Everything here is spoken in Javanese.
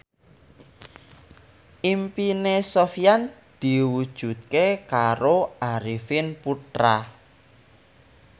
impine Sofyan diwujudke karo Arifin Putra